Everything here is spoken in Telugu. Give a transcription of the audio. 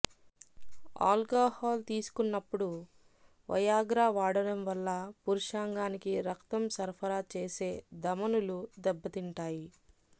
ఆల్కాహాల్ తీసుకున్నప్పుడు వయాగ్రా వాడటం వల్ల పురుషాంగానికి రక్తం సరఫరా చేసే ధమనులు దెబ్బతింటాయి